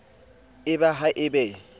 e ba ha e be